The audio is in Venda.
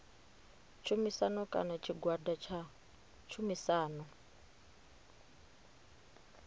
tshumisano kana tshigwada tsha tshumisano